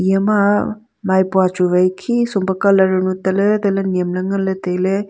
eye ma maipua chu wai khi sum pe colour ma tale tale niam le ngan le taile.